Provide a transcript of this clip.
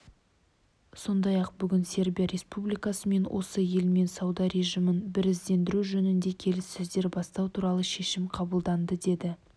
сондай-ақ бүгін сербия республикасымен осы елмен сауда режимін біріздендіру жөнінде келіссөздер бастау туралы шешім қабылданды деді